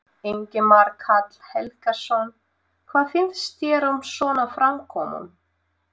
Ingimar Karl Helgason: Hvað finnst þér um svona framkomu?